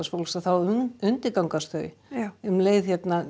fólks að þá undirgangast þau um leið